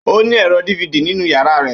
Ó ní ẹ̀rọ DVD nínú yàrá rẹ̀.